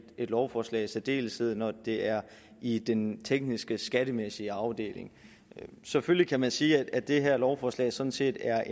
et lovforslag i særdeleshed når det er i den tekniske skattemæssige afdeling selvfølgelig kan man sige at det her lovforslag sådan set er